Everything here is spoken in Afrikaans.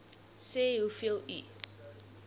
sê hoeveel u